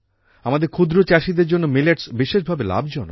আমাদের ক্ষূদ্র চাষিদের জন্য মিলেটস বিশেষভাবে লাভজনক